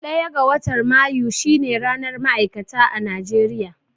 Ɗaya ga watan Mayu shine ranar ma'aikata a Najeriya.